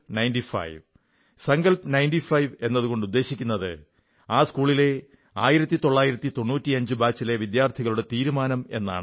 തീരുമാനം 95 സങ്കൽപ് 95 എന്നതുകൊണ്ട് ഉദ്ദേശിക്കുന്നത് ആ സ്കൂളിലെ 1995 ബാച്ചിലെ വിദ്യാർഥികളുടെ തീരുമാനം എന്നാണ്